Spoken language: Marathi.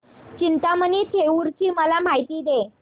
चिंतामणी थेऊर ची मला माहिती दे